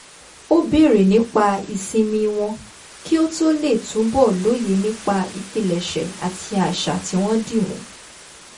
ó béèrè nípa ìsinmi wọn kí ó lè túbọ̀ lóye nípa ìpilẹ̀ṣẹ̀ àti àṣà tí wọ́n dí mú